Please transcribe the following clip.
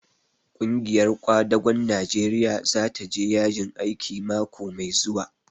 Ƙungiyar ƙwadagon Najeriya za ta je yajin aiki mako mai zuwa.